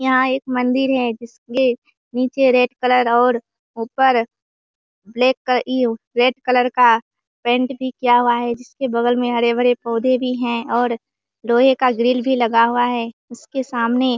यहाँ एक मंदिर है जिसके नीचे रेड कलर और ऊपर ब्लैक कलर रेड कलर का पेंट किया हुआ है इसके बगल में हरे-हरे पौधे भी हैं और लोहे का ग्रिल भी लगा हुआ है इसके सामने --